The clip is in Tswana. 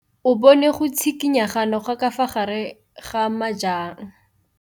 O bone go tshikinya ga noga ka fa gare ga majang.